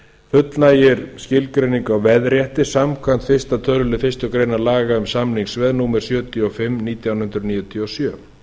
fullnægir skilgreiningu á veðrétti samkvæmt fyrsta tölulið fyrstu grein laga um samningsveð númer sjötíu og fimm nítján hundruð níutíu og sjö